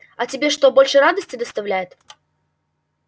а тебе что больше радости доставляет